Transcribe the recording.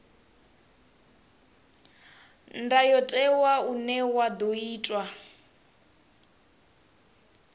ndayotewa une wa ḓo itwa